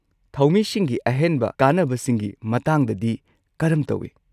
ꯊꯧꯃꯤꯁꯤꯡꯒꯤ ꯑꯍꯦꯟꯕ ꯀꯥꯟꯅꯕꯁꯤꯡꯒꯤ ꯃꯇꯥꯡꯗꯗꯤ ꯀꯔꯝ ꯇꯧꯏ?